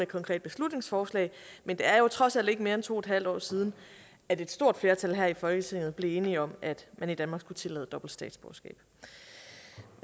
konkret beslutningsforslag men det er jo trods alt ikke mere end to en halv år siden at et stort flertal her i folketinget blev enige om at man i danmark skulle tillade dobbelt statsborgerskab